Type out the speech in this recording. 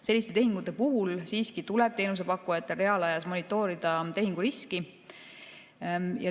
Selliste tehingute puhul tuleb teenusepakkujatel siiski reaalajas monitoorida tehingu riski.